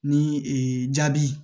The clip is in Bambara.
Ni jabi